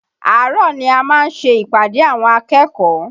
Àárọ̀ ni a máa ń ṣe ìpàdé àwọn akẹ́kọ̀ọ́